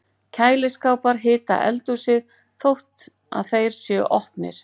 Kæliskápar hita eldhúsið þótt að þeir séu opnir!